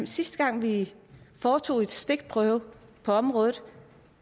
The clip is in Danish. sidste gang vi foretog en stikprøve på området